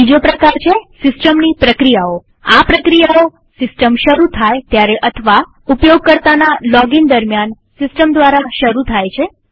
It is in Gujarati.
બીજો પ્રકાર છે સિસ્ટમની પ્રક્રિયાઓઆ પ્રક્રિયાઓ સિસ્ટમ શરુ થાય ત્યારે અથવા ઉપયોગકર્તાના લોગઇન દરમ્યાન સિસ્ટમ દ્વારા શરુ થાય છે